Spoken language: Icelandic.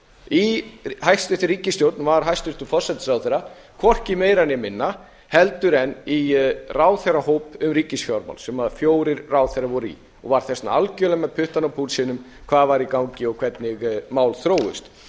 í hæstvirtri ríkisstjórn var hæstvirtur forsætisráðherra hvorki meira né minna heldur en í ráðherrahóp um ríkisfjármál sem fjórir ráðherrar voru í og var þess vegna algerlega með puttann á púlsinum hvað var í gangi og hvernig mál þróuðust ég